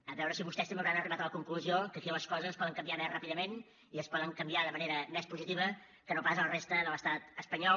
a veure si vostès també hauran arribat a la conclusió que aquí les coses poden canviar més ràpidament i es poden canviar de manera més positiva que no pas a la resta de l’estat espanyol